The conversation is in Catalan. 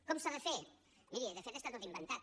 com s’ha de fer miri de fet està tot inventat